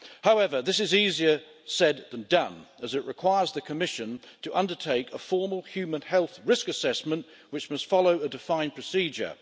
However, this is easier said than done, as it requires the Commission to undertake a formal human health risk assessment, which must follow a defined procedure.